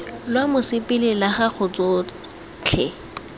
lwa mosepele la gago tsotlhe